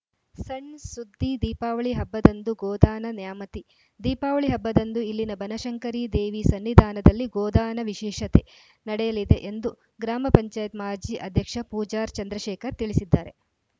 ಸಣ್‌ ಸುದ್ದಿ ದೀಪಾವಳಿ ಹಬ್ಬದಂದು ಗೋದಾನ ನ್ಯಾಮತಿ ದೀಪಾವಳಿ ಹಬ್ಬದಂದು ಇಲ್ಲಿನ ಬನಶಂಕರಿದೇವಿ ಸನ್ನಿಧಾನದಲ್ಲಿ ಗೋದಾನ ವಿಶೇಷತೆ ನಡೆಯಲಿದೆ ಎಂದು ಗ್ರಾಮ ಪಂಚಾಯತ್ ಮಾಜಿ ಅಧ್ಯಕ್ಷ ಪೂಜಾರ್‌ ಚಂದ್ರಶೇಖರ್‌ ತಿಳಿಸಿದ್ದಾರೆ